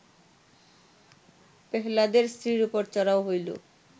পেহ্লাদের স্ত্রীর ওপর চড়াও হইল